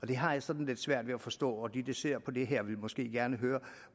det har jeg sådan lidt svært ved at forstå og de der ser på det her vil måske gerne høre